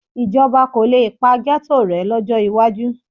Ìjọba kò le pa ghetto rẹ̀ lọ́jọ́ iwájú